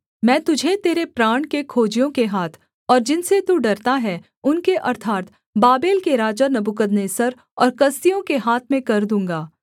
मैं तुझे तेरे प्राण के खोजियों के हाथ और जिनसे तू डरता है उनके अर्थात् बाबेल के राजा नबूकदनेस्सर और कसदियों के हाथ में कर दूँगा